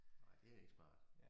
Ej det ikke smart